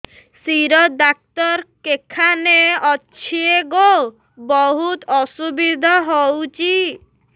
ଶିର ଡାକ୍ତର କେଖାନେ ଅଛେ ଗୋ ବହୁତ୍ ଅସୁବିଧା ହଉଚି